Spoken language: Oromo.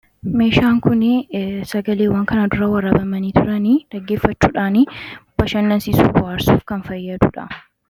meeshaan kun sagaleewwan kana dura waraabamanii turan dhaggeeffachuudhaan bashannansiisuu, bohaarsuuf kan fayyaduudha.